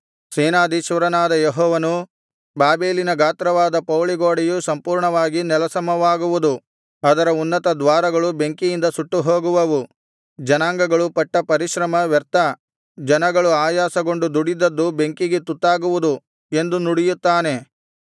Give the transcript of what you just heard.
ಸೇನಾಧೀಶ್ವರನಾದ ಯೆಹೋವನು ಬಾಬೆಲಿನ ಗಾತ್ರವಾದ ಪೌಳಿಗೋಡೆಯು ಸಂಪೂರ್ಣವಾಗಿ ನೆಲಸಮವಾಗುವುದು ಅದರ ಉನ್ನತದ್ವಾರಗಳು ಬೆಂಕಿಯಿಂದ ಸುಟ್ಟುಹೋಗುವವು ಜನಾಂಗಗಳು ಪಟ್ಟ ಪರಿಶ್ರಮ ವ್ಯರ್ಥ ಜನಗಳು ಆಯಾಸಗೊಂಡು ದುಡಿದದ್ದು ಬೆಂಕಿಗೆ ತುತ್ತಾಗುವುದು ಎಂದು ನುಡಿಯುತ್ತಾನೆ